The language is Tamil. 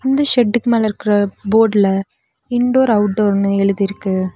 இந்த ஷெட்டுக்கு மேல இருக்குற போட்ல இன்டோர் அவுட்டோர்னு எழுதிருக்கு.